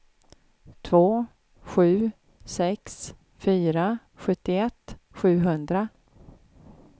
två sju sex fyra sjuttioett sjuhundra